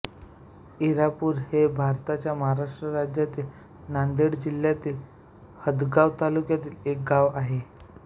इरापूर हे भारताच्या महाराष्ट्र राज्यातील नांदेड जिल्ह्यातील हदगाव तालुक्यातील एक गाव आहे